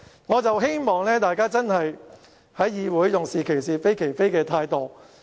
我希望大家在議會裏，用是其是，非其非的態度。